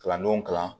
Kalandenw kalan